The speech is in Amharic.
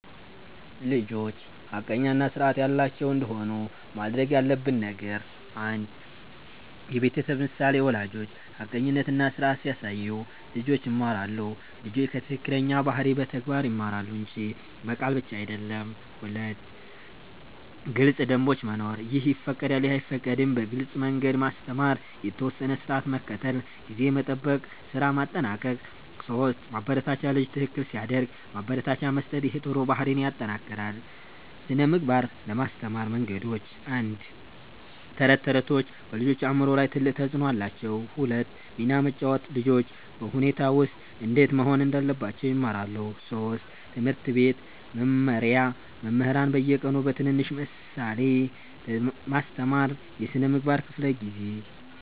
1) ልጆች ሐቀኛ እና ስርዓት ያላቸው እንዲሆኑ ማድረግ ያለብን ነገር 1. የቤተሰብ ምሳሌ ወላጆች ሐቀኝነት እና ስርዓት ሲያሳዩ ልጆች ይማራሉ ልጆች ከትክክለኛ ባህሪ በተግባር ይማራሉ እንጂ በቃል ብቻ አይደለም 2. ግልጽ ደንቦች መኖር “ይህ ይፈቀዳል / ይህ አይፈቀድም” በግልጽ መንገድ ማስተማር የተወሰነ ስርዓት መከተል (ጊዜ መጠበቅ፣ ስራ ማጠናቀቅ 3 ማበረታቻ ልጅ ትክክል ሲያደርግ ማበረታቻ መስጠት ይህ ጥሩ ባህሪን ይጠናክራል 2) ስነ ምግባር ለማስተማር መንገዶች 1. ተረቶች ተረቶች በልጆች አእምሮ ላይ ትልቅ ተፅዕኖ አላቸው 2 ሚና መጫወት ልጆች በሁኔታ ውስጥ እንዴት መሆን እንዳለባቸው ይማራሉ 3. ትምህርት ቤት መመሪያ መምህራን በየቀኑ በትንሽ ምሳሌ ማስተማር የስነ ምግባር ክፍለ ጊዜ